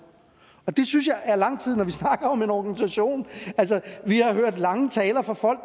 det synes jeg er lang tid når vi snakker om en organisation altså vi har hørt lange taler fra folk